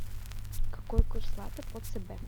какой курс лата по цб